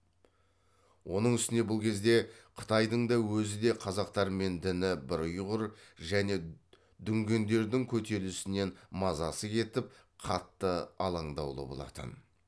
оның үстіне бұл кезде қытайдың да өзі де қазақтармен діні бір ұйғыр және дүңгендердің көтерілісінен мазасы кетіп қатты аландаулы болатын